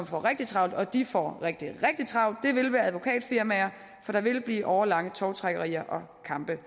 får rigtig travlt og de får rigtig travlt vil være advokatfirmaer for der vil blive årelange tovtrækkerier og kampe